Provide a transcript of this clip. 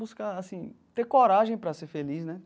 Buscar, assim, ter coragem para ser feliz, né?